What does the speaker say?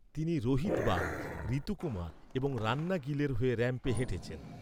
তিনি রোহিত বাল, ঋতু কুমার এবং রান্না গিলের হয়ে র‍্যাম্পে হেঁটেছেন।